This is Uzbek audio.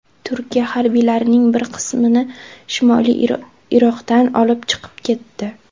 Turkiya harbiylarining bir qismini Shimoliy Iroqdan olib chiqib ketdi.